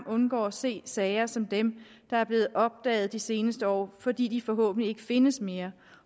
undgår at se sager som dem der er blevet opdaget de seneste år fordi de forhåbentlig ikke findes mere